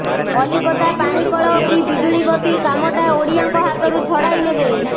କଲିକତା ପାଣିକଳ କି ବିଜୁଳିବତି କାମଟା ଓଡ଼ିଆଙ୍କ ହାତରୁ ଛଡ଼ାଇ ନେବେ